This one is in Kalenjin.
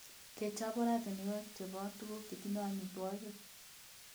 Kechob oratinwek chebo tuguk chetindo amitwogik.